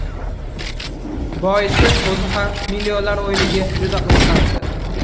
Boisi, o‘zi ham millionlar o‘yiniga juda qiziqardi.